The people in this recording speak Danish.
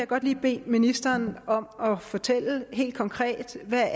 godt lige bede ministeren om at fortælle helt konkret hvad